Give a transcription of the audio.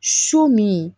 So min